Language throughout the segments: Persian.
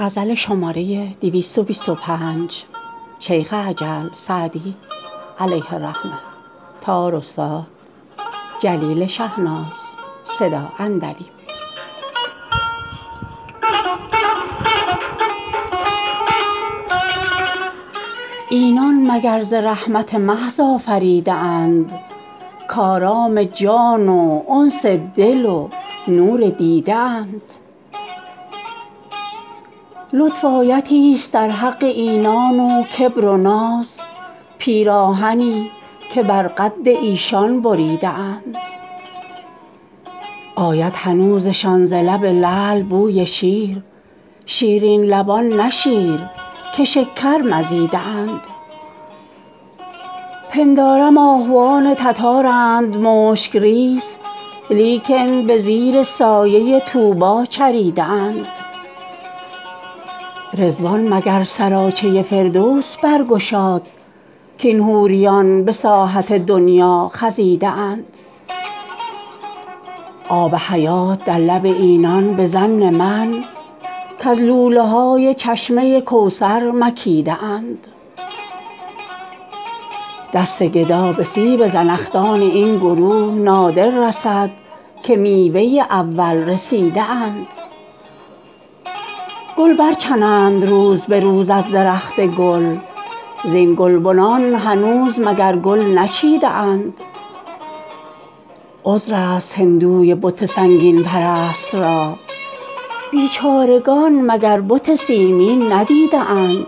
اینان مگر ز رحمت محض آفریده اند کآرام جان و انس دل و نور دیده اند لطف آیتی ست در حق اینان و کبر و ناز پیراهنی که بر قد ایشان بریده اند آید هنوزشان ز لب لعل بوی شیر شیرین لبان نه شیر که شکر مزیده اند پندارم آهوان تتارند مشک ریز لیکن به زیر سایه طوبی چریده اند رضوان مگر سراچه فردوس برگشاد کاین حوریان به ساحت دنیا خزیده اند آب حیات در لب اینان به ظن من کز لوله های چشمه کوثر مکیده اند دست گدا به سیب زنخدان این گروه نادر رسد که میوه اول رسیده اند گل برچنند روز به روز از درخت گل زین گلبنان هنوز مگر گل نچیده اند عذر است هندوی بت سنگین پرست را بیچارگان مگر بت سیمین ندیده اند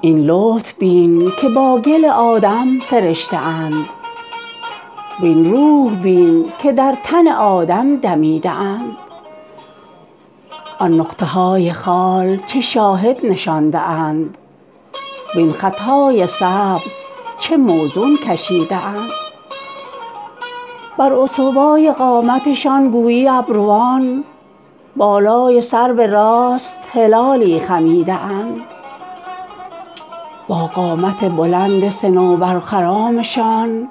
این لطف بین که با گل آدم سرشته اند وین روح بین که در تن آدم دمیده اند آن نقطه های خال چه شاهد نشانده اند وین خط های سبز چه موزون کشیده اند بر استوای قامتشان گویی ابروان بالای سرو راست هلالی خمیده اند با قامت بلند صنوبرخرامشان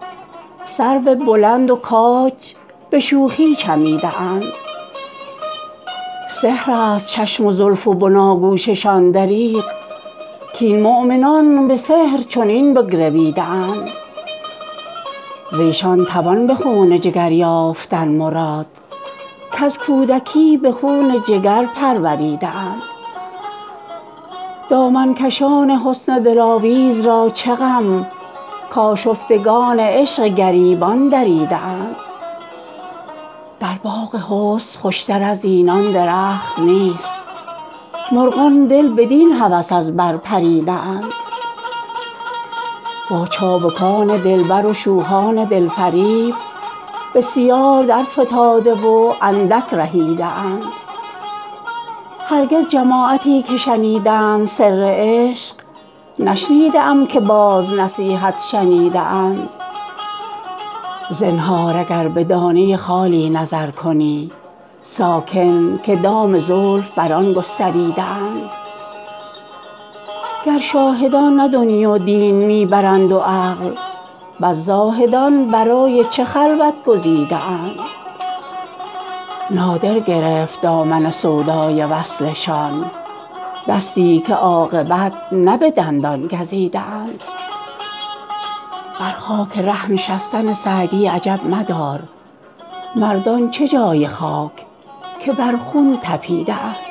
سرو بلند و کاج به شوخی چمیده اند سحر است چشم و زلف و بناگوششان دریغ کاین مؤمنان به سحر چنین بگرویده اند ز ایشان توان به خون جگر یافتن مراد کز کودکی به خون جگر پروریده اند دامن کشان حسن دلاویز را چه غم کآشفتگان عشق گریبان دریده اند در باغ حسن خوش تر از اینان درخت نیست مرغان دل بدین هوس از بر پریده اند با چابکان دلبر و شوخان دل فریب بسیار درفتاده و اندک رهیده اند هرگز جماعتی که شنیدند سر عشق نشنیده ام که باز نصیحت شنیده اند زنهار اگر به دانه خالی نظر کنی ساکن که دام زلف بر آن گستریده اند گر شاهدان نه دنیی و دین می برند و عقل پس زاهدان برای چه خلوت گزیده اند نادر گرفت دامن سودای وصلشان دستی که عاقبت نه به دندان گزیده اند بر خاک ره نشستن سعدی عجب مدار مردان چه جای خاک که بر خون طپیده اند